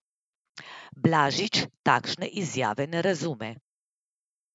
Blažič takšne izjave ne razume.